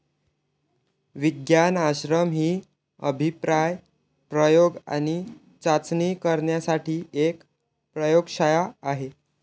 विज्ञान आश्रम ही अभिप्राय प्रयोग आणि चाचणी करण्यासाठी एक प्रयोगशाळा आहे.